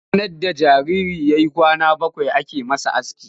Ranar da jariri ya yi kwana bakwai ake masa aski.